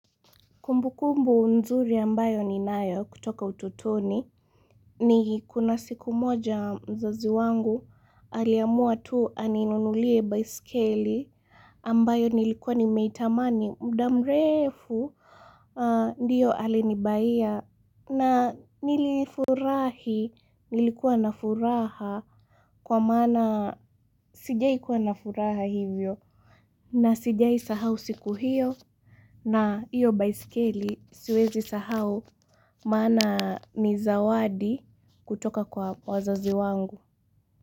Kumbukumbu nzuri ambayo ninayo kutoka utotoni ni kuna siku moja mzazi wangu aliamua tu aninunulie baiskeli ambayo nilikuwa nimeitamani muda mrefu. Ndiyo alini buyia na nilifurahi nilikuwa na furaha kwa maana sijawahi kuwa na furaha hivyo na sijawahi sahau siku hiyo. Na iyo baisikeli siwezi sahau maana ni zawadi kutoka kwa wazazi wangu.